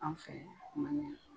An fɛ man